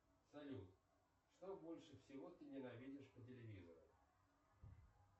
салют что больше всего ты ненавидишь по телевизору